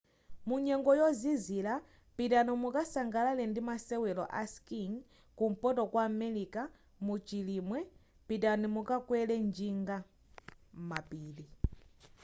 munyengo yozizila pitani mukasangalale ndi masewela a skiing kumpoto kwa america mu chilimwe pitani mukakwele njinga m'mapiri